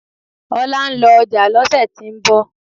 Ola ń lọ ọjà lọ́sẹ̀ tí ń bọ̀